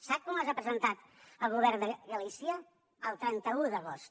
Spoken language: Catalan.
sap quan les ha presentat el govern de galícia el trenta un d’agost